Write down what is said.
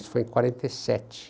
Isso foi em quarenta e sete.